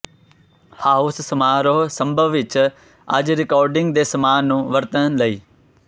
house ਸਮਾਰੋਹ ਸੰਭਵ ਵਿਚ ਅੱਜ ਰਿਕਾਰਡਿੰਗ ਦੇ ਸਾਮਾਨ ਨੂੰ ਵਰਤਣ ਲਈ